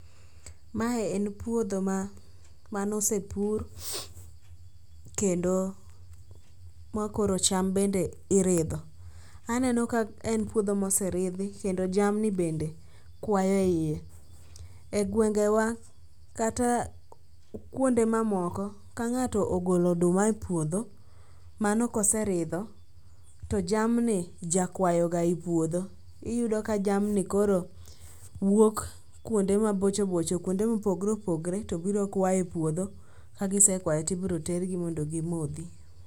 Mae en puodho manosepur kendo ma koro cham bende iridho. Aneno ka en puodho ma oseridhi kendo jamni bende kwa e iye. E gwengewa kata kuonde mamoko, ka ng'ato ogolo oduma e puodho mano koseridho, to jamni jakwayoga i puodho, iyudo ka jamni koro wuok kuonde mabochobocho kuonde mopogre opogre to biro kwayo e puodho kagisekwayo tibiro tergi mondo gimodhi.